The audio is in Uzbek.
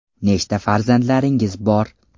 Nechta farzandlaringiz bor?